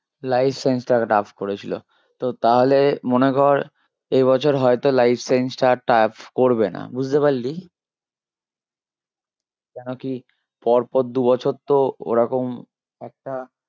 Life science টা tough করেছিল তো তাহলে মনে কর এ বছর হয়তো Life science টা আর tough করবে না বুঝতে পারলি? কেন কি পর পর দু বছর তো ওরকম একটা